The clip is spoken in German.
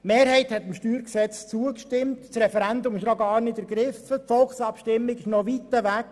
Die Mehrheit hat dem StG zugestimmt, das Referendum ist noch gar nicht ergriffen worden und die Volksabstimmung ist noch weit weg.